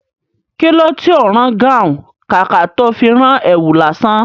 Kilo tí ó ń rán gáhùn, kàkà tó fi rán èwù lásán?